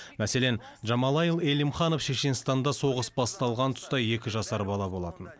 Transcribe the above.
мәселен джамалайл элимханов шешенстанда соғыс басталған тұста екі жасар бала болатын